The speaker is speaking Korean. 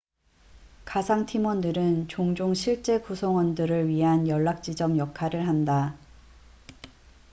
가상 팀원들은 종종 실제 구성원들을 위한 연락지점 역할을 한다